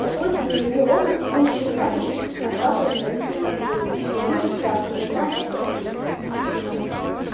по свойственной ему робости он ещё ни разу не отваживался на такие объяснения и совсем растерялся не зная как поступить